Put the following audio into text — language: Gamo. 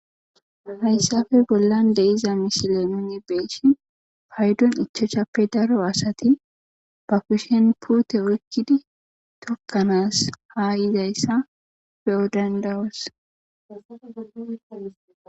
hayssappe misiile nuni be'ishin paydon ichashappe daro asati ba kushen puute oykkidi tokkanas haa yizayssa beyo danda'osi.